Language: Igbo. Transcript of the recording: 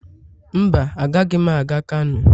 Mba, agaghị m aga kano.